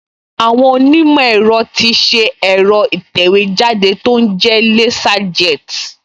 Àwọn onímọ̀ ẹ̀rọ ti ṣe ẹ̀rọ ìtẹ̀wéjáde tó ń jẹ́ Laserjet